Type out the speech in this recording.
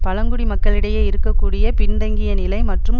பழங்குடி மக்களிடையே இருக்க கூடிய பின்தங்கியநிலை மற்றும்